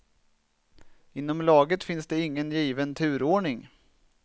Inom laget finns det ingen given turordning.